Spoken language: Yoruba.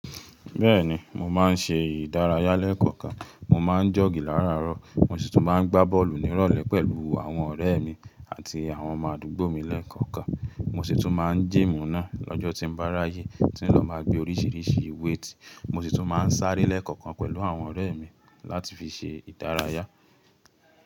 Bẹ́ẹ̀ni, mo máa ń ṣe ìdárayá lẹ́ẹ̀kọ̀kan. Mo máa ń jọ̀gí láràárọ̀, mo sì tún máa ń gbá bọ́ọ̀lù nírọ̀lẹ́ pẹ̀lú àwọn ọ̀rẹ́ mi àti àwọn ọmọ àdúgbò mi lẹ́ẹ̀kọ̀kan. Mo sì tún máa ń jímù náà lọ́jọ́ tí n bá ráyè, tí n lọ máa gbé oríṣiríṣi weight. Mo sì tún máa ń sáré lẹ́ẹ̀kọ̀kan pẹ̀lú àwọn ọ̀rẹ́ mi láti fi ṣe ìdárayá.